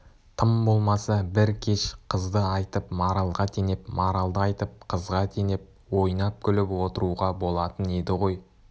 тым болмаса бір кеш қызды айтып маралға теңеп маралды айтып қызға теңеп ойнап-күліп отыруға болатын еді ғой